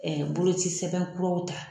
boloci sɛbɛn kuraw ta.